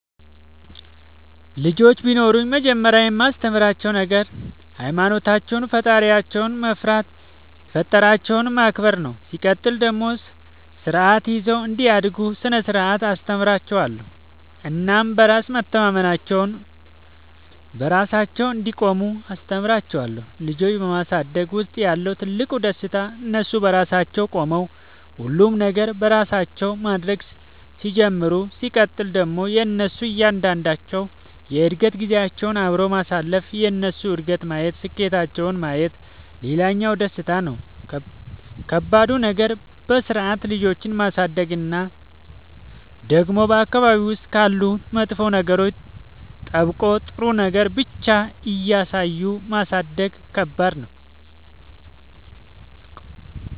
ልጆች ቢኖሩኝ መጀመሪያ የማስተምራቸዉ ነገር ሃይማኖታቸውን ፈጣሪያቸውን መፍራት የፈጠራቸውን ማክበር ነው ሲቀጥል ደግሞ ስርዓት ይዘው እንዲያድጉ ስነ ስርዓት አስተምራችኋለሁ እናም በራስ መተማመናቸውን, በራሳቸው እንዲቆሙ አስተምራቸዋለሁ። ልጆች በማሳደግ ውስጥ ያለው ትልቁ ደስታ እነሱ በራሳቸው ቆመው ሁሉንም ነገር በራሳቸው ማድረግ ሲጀምሩ ሲቀጥል ደግሞ የእነሱን እያንዳንዷን የእድገት ጊዜያቸውን አብሮ ማሳለፍ የእነሱን እድገት ማየት ስኬታቸውን ማየት ሌላኛው ደስታ ነው። ከባዱ ነገር በስርዓት ልጆችን ማሳደግ እና ደግሞ በአካባቢ ውስጥ ካሉ መጥፎ ነገሮች ጠብቆ ጥሩ ነገር ብቻ እያሳዩ ማሳደግ ከባድ ነው።